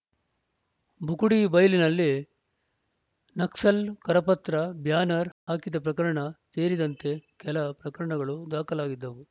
ಬುಕುಡಿ ಬೈಲಿನಲ್ಲಿ ನಕ್ಸಲ್‌ ಕರಪತ್ರ ಬ್ಯಾನರ್‌ ಹಾಕಿದ ಪ್ರಕರಣ ಸೇರಿದಂತೆ ಕೆಲ ಪ್ರಕರಣಗಳು ದಾಖಲಾಗಿದ್ದವು